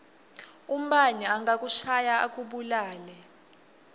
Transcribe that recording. umbane angakushaya akubulale